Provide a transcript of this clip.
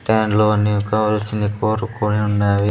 ఇంత ఎండలో నీకు కావలిసింది కోరుకొని ఉన్నవి.